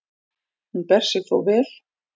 Hún ber sig þó vel.